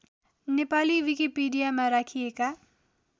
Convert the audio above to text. नेपाली विकिपिडियामा राखिएका